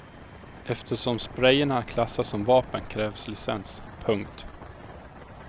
Eftersom sprejerna klassas som vapen krävs licens. punkt